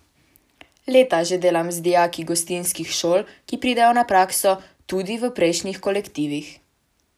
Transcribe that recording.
Leta že delam z dijaki gostinskih šol, ki pridejo na prakso, tudi v prejšnjih kolektivih.